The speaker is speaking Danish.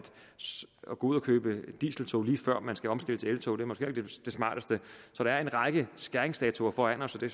gå ud og købe dieseltog lige før man skal omstille til eltog er måske heller ikke det smarteste så der er en række skæringsdatoer foran os og det